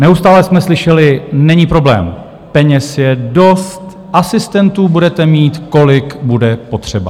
Neustále jsme slyšeli: není problém, peněz je dost, asistentů budete mít, kolik bude potřeba.